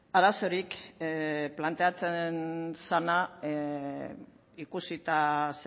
arazorik planteatzen zena ikusita